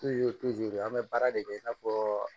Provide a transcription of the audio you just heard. an bɛ baara de kɛ i n'a fɔ